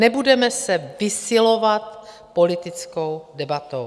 Nebudeme se vysilovat politickou debatou.